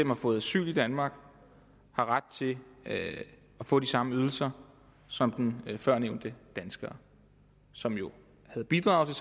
har fået asyl i danmark har ret til at få de samme ydelser som den førnævnte dansker som jo har bidraget